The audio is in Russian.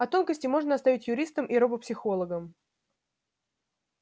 а тонкости можно оставить юристам и робопсихологам